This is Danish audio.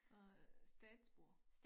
Øh statsborger